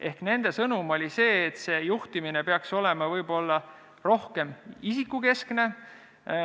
Ehk nende sõnum oli see, et juhtimine peaks olema võib-olla rohkem isikukeskne.